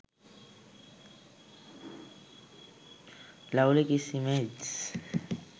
lovely kiss images